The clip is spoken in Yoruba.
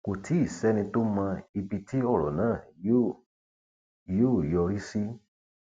kò tí ì sẹni tó mọ ibi tí ọrọ náà yóò yóò yọrí sí